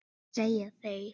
segja þeir.